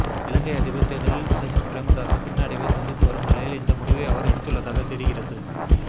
இலங்கை அதிபர் தேர்தலில் சஜித் பிரேமதாச பின்னடைவை சந்தித்து வரும் நிலையில் இந்த முடிவை அவர் எடுத்துள்ளதாக தெரிகிறது